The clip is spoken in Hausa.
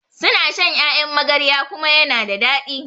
suna shan Ƴaƴan magarya kuma yana da dadi